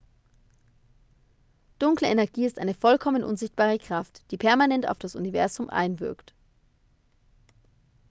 dunkle energie ist eine vollkommen unsichtbare kraft die permanent auf das universum einwirkt